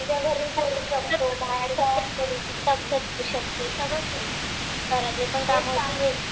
हा सगळं करू शकते. घरातले पण काम होतील हे पण . तुला